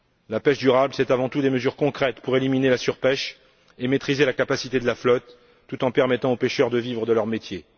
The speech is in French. La pêche durable, c'est avant tout des mesures concrètes pour éliminer la surpêche et maîtriser la capacité de la flotte tout en permettant aux pêcheurs de vivre de leur métier.